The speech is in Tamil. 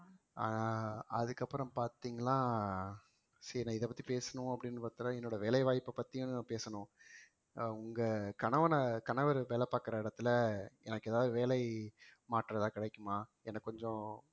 ஆஹ் அதுக்கப்புறம் பாத்தீங்கன்னா சரி நான் இதைப்பத்தி பேசணும் அப்படின்னு பார்த்தா என்னோட வேலை வாய்ப்பைப் பத்தியும் பேசணும் அஹ் உங்க கணவன கணவர் வேலை பார்க்கிற இடத்துல எனக்கு ஏதாவது வேலை மாற்றம் ஏதாவது கிடைக்குமா எனக்கு கொஞ்சம்